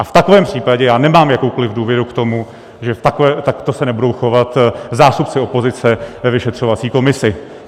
A v takovém případě já nemám jakoukoliv důvěru k tomu, že takto se nebudou chovat zástupci opozice ve vyšetřovací komisi.